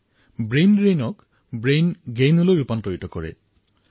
মই ব্ৰেইনড্ৰেইনক ব্ৰেইনগেইনলৈ পৰিৱৰ্তন কৰাৰ বাবে আহ্বান কৰিছিলো